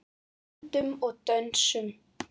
Öndum og dönsum.